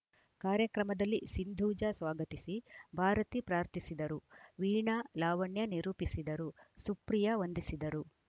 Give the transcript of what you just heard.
ಕಾರ್ಯಕ್ರಮದಲ್ಲಿ ಸಿಂಧೂಜ ಸ್ವಾಗತಿಸಿ ಭಾರತಿ ಪ್ರಾರ್ಥಿಸಿದರು ವೀಣಾ ಲಾವಣ್ಯ ನಿರೂಪಿಸಿದರು ಸುಪ್ರಿಯ ವಂದಿಸಿದರು